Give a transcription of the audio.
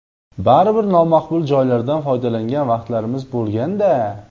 Baribir nomaqbul joylardan foydalangan vaqtlarimiz bo‘lganda.